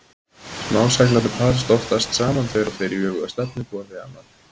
Smá-seglarnir parast oftast saman tveir og tveir í öfuga stefnu hvor við annan.